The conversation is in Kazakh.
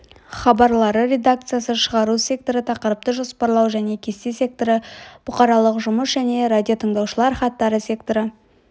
хабарлары редакциясы шығару секторы тақырыпты жоспарлау және кесте секторы бұқаралық жұмыс және радиотыңдаушылар хаттары секторы